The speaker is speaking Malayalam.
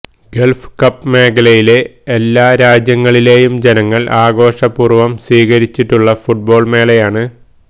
ഗള്ഫ് കപ്പ് മേഖലയിലെ എല്ലാരാജ്യങ്ങളിലെയും ജനങ്ങള് ആഘോഷപൂര്വം സ്വീകരിച്ചിട്ടുള്ള ഫുട്ബോള് മേളയാണ്